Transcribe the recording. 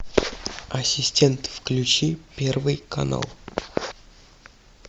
ассистент включи первый канал